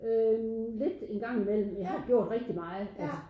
Øh lidt en gang imellem jeg har gjort rigtig meget altså